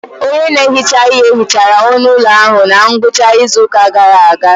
Onye na-ehicha ihe hichara onu ụlọ ahụ na ngwụcha izu ụka gara aga.